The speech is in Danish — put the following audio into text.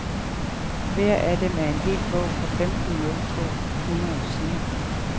Hver af dem er en hel bog på femten nul to hundrede sider.